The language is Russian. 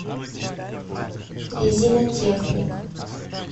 резинотехник